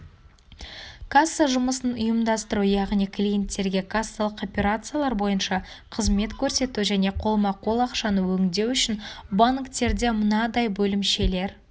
касса жұмысын ұйымдастыру яғни клиенттерге кассалық операциялар бойынша қызмет көрсету және қолма-қол ақшаны өңдеу үшін банктерде мынадай бөлімшелер